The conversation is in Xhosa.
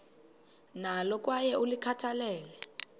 nalo kwaye ulikhathalele